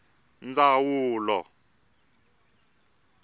ndzawulo